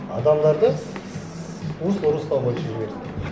адамдарды русло русло бойынша жібереді